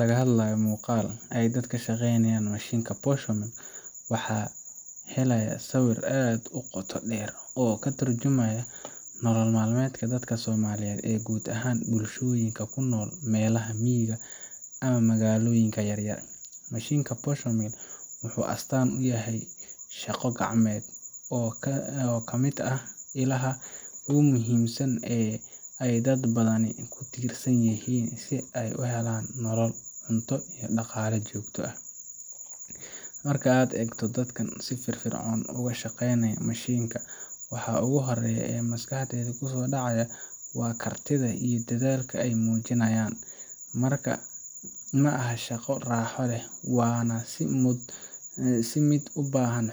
laga hadlayo muqal ay dadka kashaqeynayan mashinka posho mill waxa haleya sawir aad u qota dher oo katurjamayo nolol maalmeedka dadla soomaaliyed ee guud ahan bulshoyinka kunol malaha miyiga ama magaoyinka yaryar ,mashinka posh mill wuxuu astan uyahay shaqo gacmeed oo kamid ah ilaha ogu muhiimsan ay dad badan kutirsan yihiin si ay u helan nolol cunto iyo dhaqala jogto ah, marka ad egto dadkan si firfircon ogashaqeenata mashinka waxaa ogu horeya oo maskaxdey kuso dhacaya waa kartida iyo dadalka ay mujinayan, marka ma aha shaqa raxo leh wana si mid ubahan